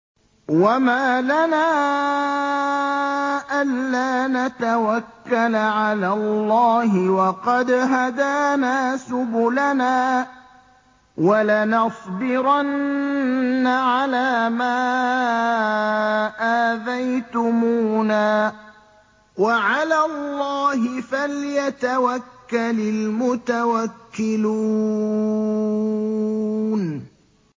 وَمَا لَنَا أَلَّا نَتَوَكَّلَ عَلَى اللَّهِ وَقَدْ هَدَانَا سُبُلَنَا ۚ وَلَنَصْبِرَنَّ عَلَىٰ مَا آذَيْتُمُونَا ۚ وَعَلَى اللَّهِ فَلْيَتَوَكَّلِ الْمُتَوَكِّلُونَ